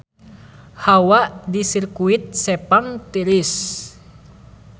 Hawa di Sirkuit Sepang tiris